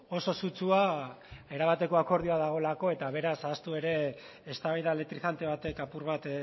oso sutsua erabateko akordioa dagoelako eta beraz ahaztu ere eztabaida elektrizante batek apur bat